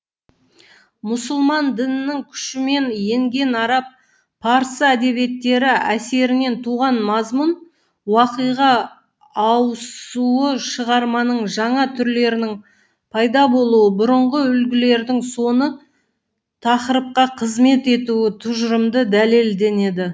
мұсылман дінінің күшімен енген араб парсы әдебиеттері әсерінен туған мазмұн уақиға ауысуы шығарманың жаңа түрлерінің пайда болуы бұрынғы үлгілердің соны тақырыпқа қызмет етуі тұжырымды дәлелденеді